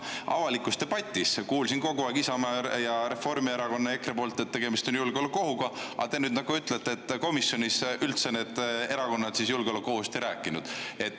Avalikus debatis olen kogu aeg kuulnud Isamaa, Reformierakonna ja EKRE poolt, et tegemist on julgeolekuohuga, aga nüüd te nagu ütlete, et komisjonis need erakonnad julgeolekuohust üldse ei rääkinud.